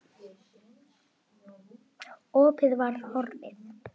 Opið var horfið.